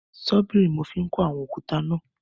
Ṣọ́bìrì ni mo fi ń kó àwọn òkúta náà.